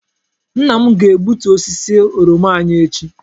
Nna m ga-egbutu osisi oroma anyị echi.